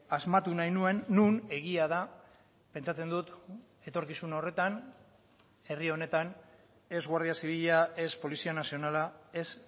asmatu nahi nuen non egia da pentsatzen dut etorkizun horretan herri honetan ez guardia zibila ez polizia nazionala ez